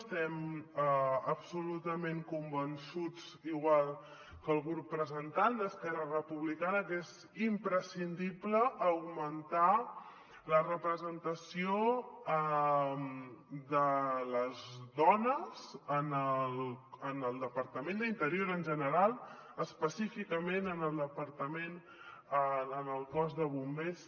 estem absolutament convençuts igual que el grup que la presenta esquerra republicana que és imprescindible augmentar la representació de les dones en el departament d’interior en general i específicament en el cos de bombers